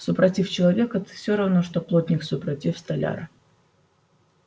супротив человека ты всё равно что плотник супротив столяра